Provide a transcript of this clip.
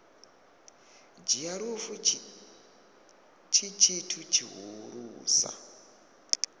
dzhia lufu tshi tshithu tshihulusa